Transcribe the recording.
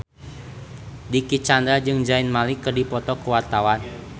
Dicky Chandra jeung Zayn Malik keur dipoto ku wartawan